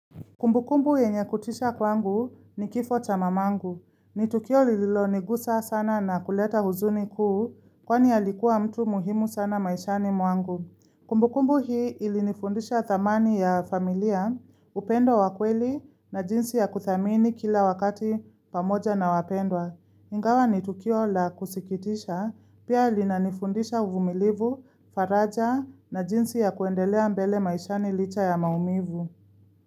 Kumbukumbu yenye kutisha kwangu ni kifo cha mamangu. Ni tukio lililonigusa sana na kuleta huzuni kuu kwani ya alikuwa mtu muhimu sana maishani mwangu. Kumbukumbu hii ilinifundisha thamani ya familia, upendo wa kweli na jinsi ya kuthamini kila wakati pamoja na wapendwa. Ingawa ni tukio la kusikitisha pia linanifundisha uvumilivu, faraja na jinsi ya kuendelea mbele maishani licha ya maumivu.